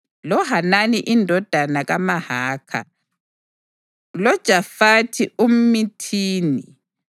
loHanani indodana kaMahakha, loJoshafathi umʼMithini,